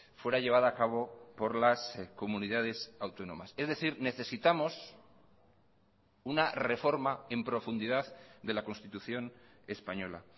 fuera llevada a cabo por las comunidades autónomas es decir necesitamos una reforma en profundidad de la constitución española